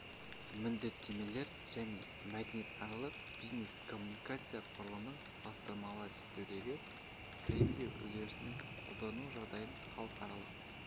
міндеттемелер және мәдениаралық бизнес-коммуникация құрылымын салыстырмалы зерттеудегі фреймдеу үдерісін қолдану жағдайдың халықаралық